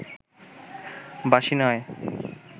বাঁশি নয়